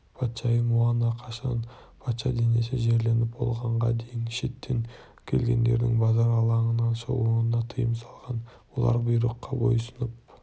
патшайым муана қашан патша денесі жерленіп болғанға дейін шеттен келгендердің базар алаңынан шығуына тыйым салған олар бұйрыққа бойұсынып